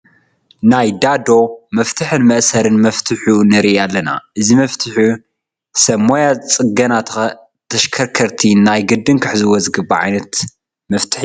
ናይ ዳዶ መፍትሕን መእሰርን መፍቱሕ ንርኢ ኣለና፡፡ እዚ መፍቱሕ ሰብ ሞያ ፅገና ተሽከርከርቲ ናይ ግድን ክሕዝዎ ዝግባእ ዓይነት መፍቱሕ እዩ፡፡